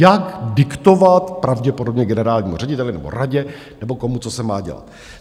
Jak diktovat pravděpodobně generálnímu řediteli nebo radě nebo komu, co se má dělat.